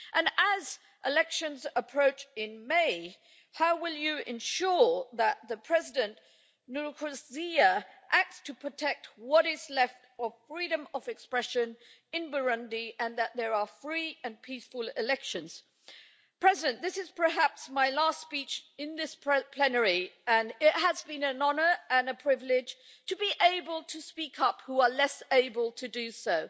And as elections approach in May, how will the Commission ensure that President Nkurunziza acts to protect what is left of freedom of expression in Burundi and that there are free and peaceful elections? This is perhaps my last speech in this plenary and it has been an honour and a privilege to be able to speak up for those who are less able to do so